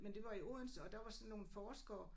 Men det var i Odense og der var sådan nogle forskere